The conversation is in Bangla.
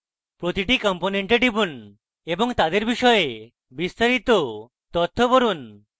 প্রতিটি component টিপুন এবং তাদের বিষয়ে বিস্তারিত তথ্য পড়ুন